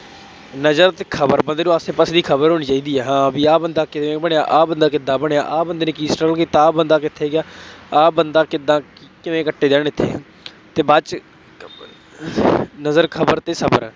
ਨਜ਼ਰ ਅਤੇ ਖਬਰ ਬੰਦੇ ਨੂੰ ਆਸੇ ਪਾਸੇ ਦੀ ਖਬਰ ਹੋਣੀ ਚਾਹੀਦੀ ਹੇ। ਹਾਂ ਬਈ ਆਹ ਬੰਦਾ ਕਿਵੇਂ ਬਣਿਆ, ਆਹ ਬੰਦਾ ਕਿਦਾਂ ਬਣਿਆਂ, ਆਹ ਬੰਦੇ ਨੇ ਕੀ struggle ਕੀਤਾ, ਆਹ ਬੰਦਾ ਕਿੱਥੇ ਗਿਆ, ਆਹ ਬੰਦਾ ਕਿਦਾਂ ਕਿਵੇਂ ਅਤੇ ਬਾਅਦ ਚ ਨਜ਼ਰ, ਖਬਰ ਅਤੇ ਸਬਰ,